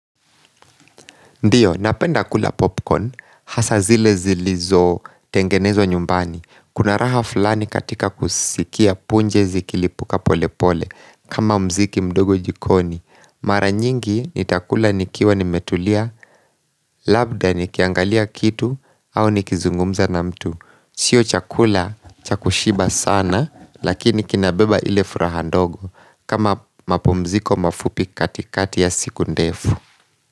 Ndiyo, napenda kula popcorn, hasa zile zilizotengenezwa nyumbani. Kuna raha fulani katika kusikia punje zikilipuka pole pole, kama muziki mdogo jikoni. Mara nyingi, nitakula nikiwa nimetulia, labda nikiangalia kitu, au nikizungumza na mtu. Sio chakula cha kushiba sana, lakini kinabeba ile furaha ndogo, kama mapumziko mafupi katikati ya siku ndefu.